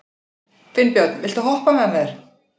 Finnbjörn, viltu hoppa með mér?